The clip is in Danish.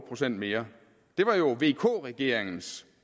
procent mere det var jo vk regeringens